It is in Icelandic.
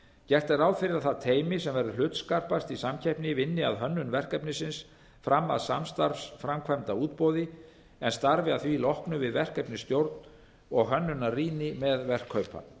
gert er ráð fyrir að það teymi sem verður hlutskarpast í samkeppninni vinni að hönnun verkefnisins fram að samstarfsframkvæmdarútboði en starfi að því loknu við verkefnisstjórn og hönnunarrýni með verkkaupa